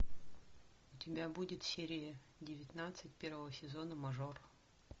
у тебя будет серия девятнадцать первого сезона мажор